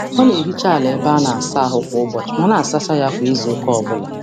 Ọ na-ehicha ala ebe a na-asa ahụ kwa ụbọchị ma na-asacha ya kwa izuụka ọbụla